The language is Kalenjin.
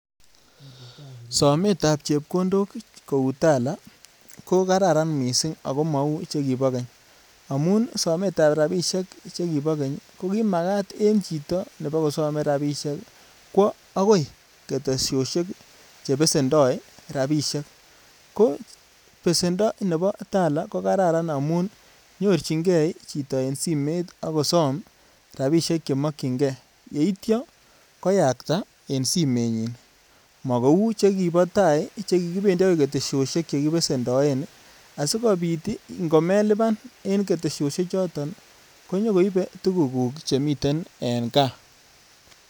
Sometab chepkondok kou Tala, ko karan mising ago mau chekibo keny amun sometab rapisiek chekibikeny ko kimagat en chito nebokosome rapisiek kwo agoi ketesiosiek che besendoi rapisiek. Ko besendo nebo Tala ko kararan amun nyorchinge chito eng simet ak somom rapisiek che makyinge, yeitya koyakta en simenyin. Makou chekibo tai chekikibendi agoi ketesiosiek che kibesendoe asigopit ingomeluban en ketesiosiek choton konyokoibe tugukuk chemiten eng kaa.